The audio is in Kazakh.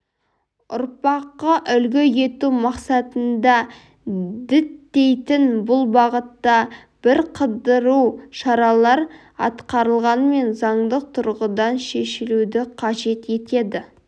ұрпаққа үлгі ету мақсатын діттейтінін бұл бағытта бірқыдыру шаралар атқарылғанымен заңдық тұрғыдан шешілуді қажет ететін